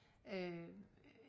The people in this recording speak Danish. øh